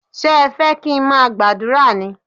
Ṣé ẹ fẹ́ kí n má gbàdúrà ní?